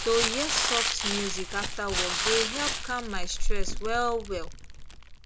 to hear soft music after work dey help calm my stress well well